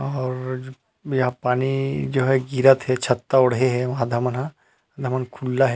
और यहाँ पानी गिरहत हे अउ छत्ता ओढ़े है आधा मन हा अउ आधा मन ह खुल्ला हे।